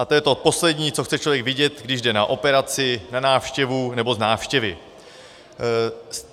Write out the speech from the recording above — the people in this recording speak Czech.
A to je to poslední, co chce člověk vidět, když jde na operaci, na návštěvu nebo z návštěvy.